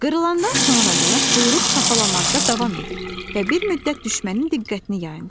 Qırılandan sonra da quyruq çapalamada davam edir və bir müddət düşmənin diqqətini yayındırır.